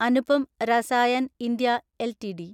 Anupam Rasayan India LTD